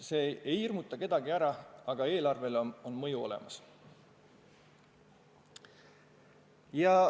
See ei hirmuta kedagi ära, aga mõju eelarvele on olemas.